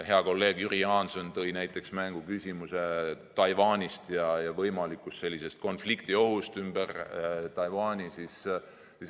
Hea kolleeg Jüri Jaanson tõi mängu küsimuse Taiwanist ja võimalikust konfliktiohust ümber Taiwani.